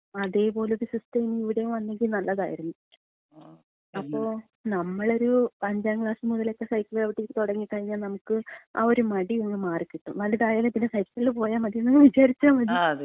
അതേപോലെ ഒരു സിസ്റ്റം ഇവിടെയും വന്നെങ്കി നല്ലതാരുന്നു. അപ്പോ നമ്മളൊരു അഞ്ചാം ക്ലാസ് മുതലക്കെ സൈക്കള് ചവിട്ടി തുടങ്ങിക്കഴിഞ്ഞാല് നമുക്ക് ആ ഒരു മടി അങ്ങ് മാറികിട്ടും. വലുതായാ പിന്നെ സൈക്കിളില്‍ പോയാ മതി എന്നങ്ങ് വിചാരിച്ചാ മതി.